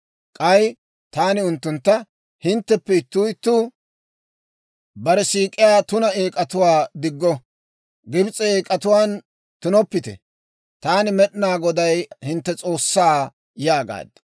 K'ay taani unttuntta; «Hintteppe ittuu ittuu bare siik'iyaa tuna eek'atuwaa diggo; Gibs'e eek'atuwaan tunoppite. Taani Med'inaa Godaa hintte S'oossaa» yaagaad.